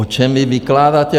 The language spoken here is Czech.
O čem vy vykládáte?